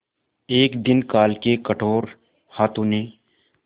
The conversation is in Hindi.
एक दिन काल के कठोर हाथों ने